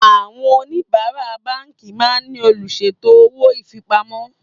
Àwọn oníbárá báńkì máa ń ní olùṣètò owó ifipamọ́